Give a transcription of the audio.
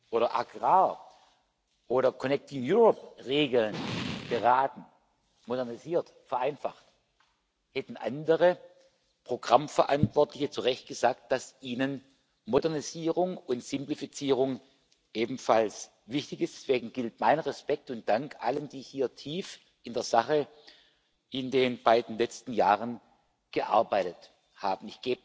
oder Agrar oder Regeln beraten, modernisiert, vereinfacht, hätten andere Programmverantwortliche zu Recht gesagt, dass ihnen Modernisierung und Simplifizierung ebenfalls wichtig sind. Deswegen gilt mein Respekt und Dank allen, die hier in den beiden letzten Jahren tief in der Sache gearbeitet haben.